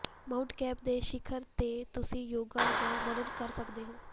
Mount ਕੈਟ ਦੇ ਸਿਖਰ ਤੇ ਤੁਸੀਂ ਯੋਗਾ ਜਾਂ ਮਨਨ ਕਰ ਸਕਦੇ ਹੋ